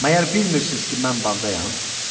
Məyər bilmirsiz ki, mən bağdayam?